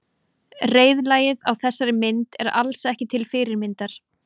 Reiðlagið á þessari mynd er alls ekki til fyrirmyndar.